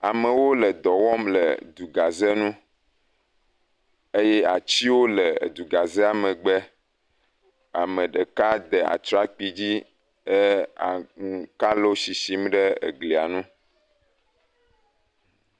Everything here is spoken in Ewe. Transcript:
Amewo le dɔ wɔm le du gaze ŋu eye atiwo le du gazea megbe, ame ɖeka de atrakpui dzi he eh kalo shishim ɖe egli ŋu.